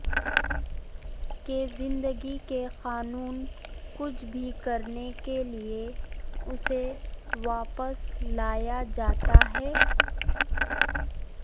کہ زندگی کے قانون کچھ بھی کرنے کے لئے اسے واپس لایا جاتا ہے